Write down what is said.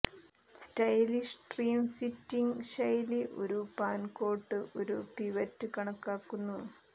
stylish trim fitting ശൈലി ഒരു പാൻകോട്ട് ഒരു പിവറ്റ് കണക്കാക്കുന്നു